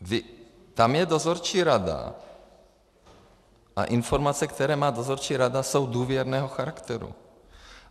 Tam je dozorčí rada a informace, které má dozorčí rada, jsou důvěrného charakteru.